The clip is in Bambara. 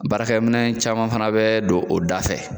Baarakɛminɛn caman fana bɛ don o da fɛ.